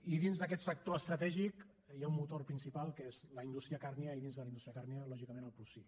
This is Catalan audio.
i dins d’aquest sector estratègic hi ha un motor principal que és la indústria càrnia i dins de la indústria càrnia lògicament el porcí